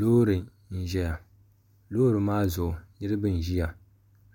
loori n-ʒeya loori maa zuɣu niriba n-ʒeya